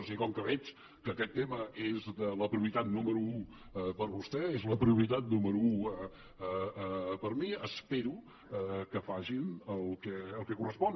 o sigui com que veig que aquest tema és la prioritat número u per vostè és la prioritat número u per mi espero que facin el que correspon